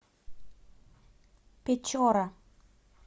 печора